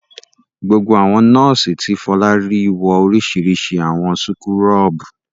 Gbogbo àwọn nọ́ọ́sì tí Fọlá rí wọ oríṣiríṣi àwọ̀ súkúrọ́bù.